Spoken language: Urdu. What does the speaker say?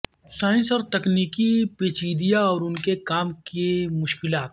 سائنسی اور تکنیکی پیچیدہ اور ان کے کام کی مشکلات